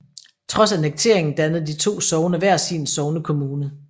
Trods annekteringen dannede de to sogne hver sin sognekommune